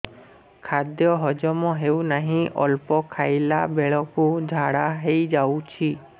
ଖାଦ୍ୟ ହଜମ ହେଉ ନାହିଁ ଅଳ୍ପ ଖାଇଲା ବେଳକୁ ଝାଡ଼ା ହୋଇଯାଉଛି